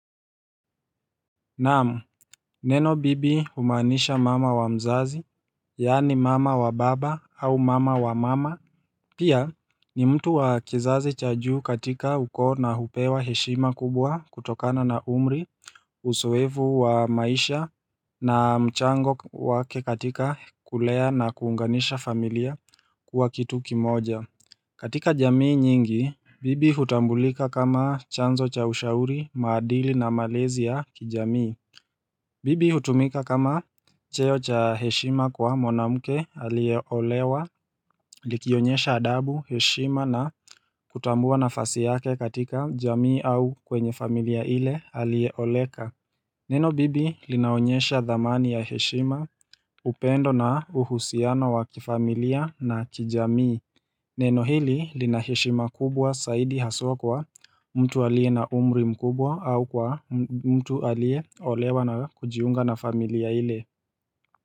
Naam, neno bibi humaanisha mama wa mzazi, yaani mama wa baba au mama wa mama Pia ni mtu wa kizazi cha juu katika ukoo na hupewa heshima kubwa kutokana na umri Usoevu wa maisha na mchango wake katika kulea na kuunganisha familia kuwa kitu kimoja katika jamii nyingi, bibi hutambulika kama chanzo cha ushauri, maadili na malezi ya kijamii bibi hutumika kama cheo cha heshima kwa mwanamke aliyeolewa likionyesha adabu, heshima na kutambua nafasi yake katika jamii au kwenye familia ile aliyeoleka Neno bibi linaonyesha dhamani ya heshima upendo na uhusiano wa kifamilia na kijamii Neno hili linaheshima kubwa saidi haswa kwa mtu aliye na umri mkubwa au kwa mtu aliyeolewa na kujiunga na familia ile.